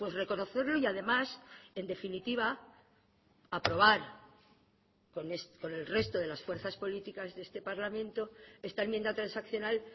reconocerlo y además en definitiva aprobar con el resto de las fuerzas políticas de este parlamento esta enmienda transaccional